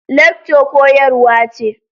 Lecture koyarwa ce.